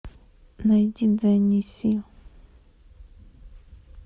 найди дэнни си